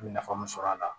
I bɛ nafa mun sɔrɔ a la